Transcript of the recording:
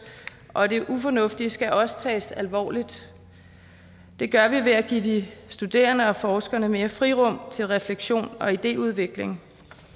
og det ufornuftige skal også tages alvorligt det gør vi ved at give de studerende og forskerne mere frirum til refleksion og idéudvikling